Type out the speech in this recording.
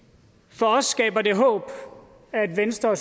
for os skaber det håb at venstre